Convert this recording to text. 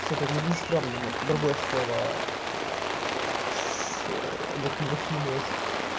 сука не страшно нет другое слово с нет не вообще не на с